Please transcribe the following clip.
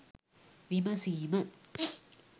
විමසීම